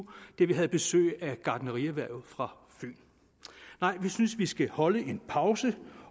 da vi havde besøg af gartnerierhvervet fra fyn nej vi synes at vi skal holde en pause